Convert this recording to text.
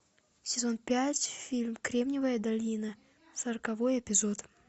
сезон пять фильм кремниевая долина сороковой эпизод